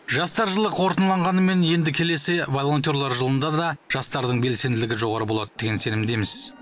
жастар жылы қорытындыланғанымен енді келесі волонтерлер жылында да жастардың белсенділігі жоғары болады деген сенімдеміз